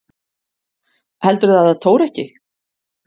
Heldurðu að það tóri ekki?